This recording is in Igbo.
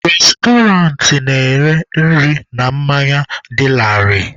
Restọrantị na-ere nri na mmanya dị laarị.